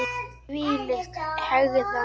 Þvílík hegðan!